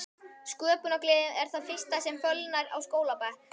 Sköpunargleðin er það fyrsta sem fölnar á skólabekk.